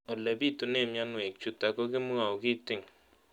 Ole pitune mionwek chutok ko kimwau kitig'�n